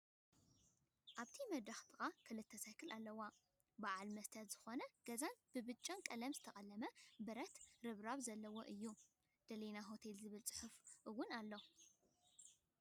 ኣብቲ መድረክ ጥቃ ክልተ ሳይክል ኣለዋ። ብዓል መስትያት ዝኮነ ገዛን ብብጫ ቀለም ዝተቀለመ ብረት ርብራር ዘለዎን እዩ። ደሊና ሆቴል ዝብል ፅሐየፍ እውን ኣሎ።